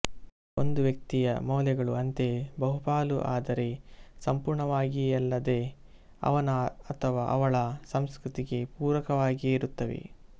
ಒಂದು ವ್ಯಕ್ತಿಯ ಮೌಲ್ಯಗಳೂ ಅಂತೆಯೇ ಬಹಪಾಲು ಅದರೆ ಸಂಪೂರ್ಣವಾಗಿಯಲ್ಲದೆ ಅವನ ಅಥವಾ ಅವಳ ಸಂಸ್ಕೃತಿಗೆ ಪೂರಕವಾಗಿಯೇ ಇರುತ್ತವೆ